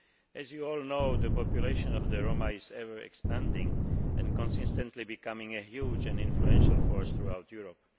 As you all know, the population of the Roma is ever expanding and consistently becoming a huge and influential force throughout Europe.